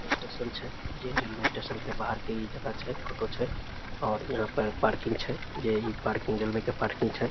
Railway station छै जेई railway station के बाहर के इ जगह छै फोटो छै और यहां पर पार्किंग छै जेई इ पार्किंग रेलवे के पार्किंग छै।